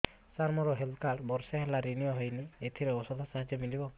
ସାର ମୋର health card ବର୍ଷେ ହେଲା ରିନିଓ ହେଇନି ଏଥିରେ ଔଷଧ ସାହାଯ୍ୟ ମିଳିବ